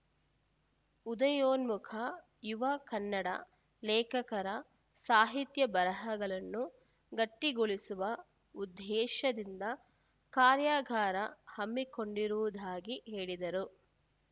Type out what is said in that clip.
ಉದಯೋನ್ಮುಖ ಯುವ ಕನ್ನಡ ಲೇಖಕರ ಸಾಹಿತ್ಯ ಬರಹಗಳನ್ನು ಗಟ್ಟಿಗೊಳಿಸುವ ಉದ್ದೇಶದಿಂದ ಕಾರ್ಯಾಗಾರ ಹಮ್ಮಿಕೊಂಡಿರುವುದಾಗಿ ಹೇಳಿದರು